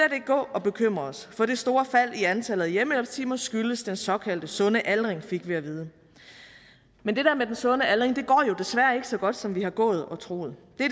og bekymre os for det store fald i antallet af hjemmehjælpstimer skyldes den såkaldte sunde aldring fik vi at vide men det der med den sunde aldring går jo desværre ikke så godt som vi har gået og troet